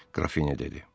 Qrafinya dedi.